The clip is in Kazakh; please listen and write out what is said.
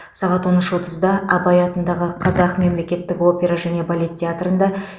сағат он үш отызда абай атындағы қазақ мемлекеттік опера және балет театрында